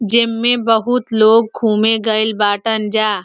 जेमें बहोत लोग घूमे गइल बाटन जा।